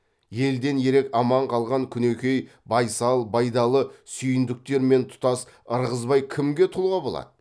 елден ерек аман қалған күнекең байсал байдалы сүйіндіктер мен тұтас ырғызбай кімге тұлға болады